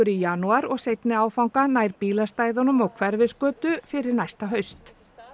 janúar og seinni áfanga nær bílastæðunum og Hverfisgötu fyrir næsta haust